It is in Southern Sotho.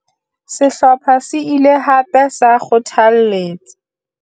Sehlopha se ile hape sa kgothalletsa